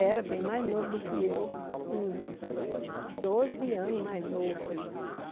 Era bem mais novo do que eu, uns doze anos mais novo.